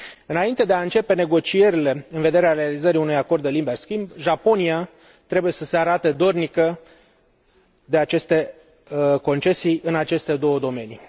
Înainte de a începe negocierile în vederea realizării unui acord de liber schimb, Japonia trebuie să se arate dornică să facă aceste concesii în cele două domenii.